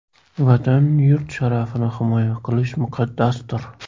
Vatan, yurt sharafini himoya qilish muqaddasdir!